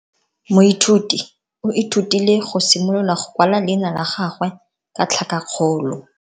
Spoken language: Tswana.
Moithuti o ithutile go simolola go kwala leina la gagwe ka tlhakakgolo.